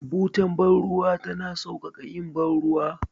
Butar bar ruwa tana sauƙaƙa yin bar ruwa.